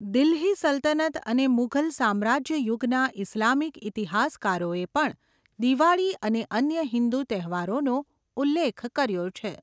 દિલ્હી સલ્તનત અને મુઘલ સામ્રાજ્ય યુગના ઇસ્લામિક ઇતિહાસકારોએ પણ દિવાળી અને અન્ય હિન્દુ તહેવારોનો ઉલ્લેખ કર્યો છે.